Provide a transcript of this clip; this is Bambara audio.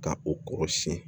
Ka o kɔrɔsiyɛn